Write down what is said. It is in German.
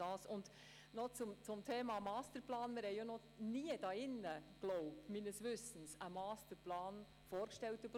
Zum Thema Masterplan: Meines Wissens ist uns hier noch nie ein Masterplan vorgestellt worden.